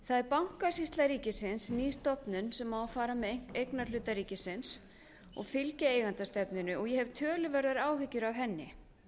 er bankasýsla ríkisins ný stofnun sem á að fara með eignarhluta ríkisins og fylgja eigendastefnunni og ég hef töluverðar áhyggjur af henni